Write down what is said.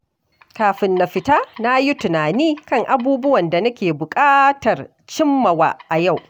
Kafin na fita, na yi tunani kan abubuwan da nake buƙatar cimmawa a yau.